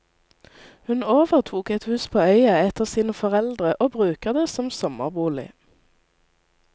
Hun overtok et hus på øya etter sine foreldre, og bruker det som sommerbolig.